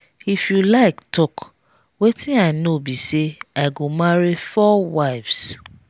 if you like talk wetin i know be say i go marry 4 wives.